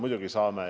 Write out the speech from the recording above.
Muidugi saame.